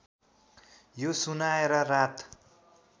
यो सुनाएर रात